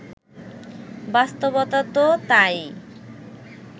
বাস্তবতা তো তা-ই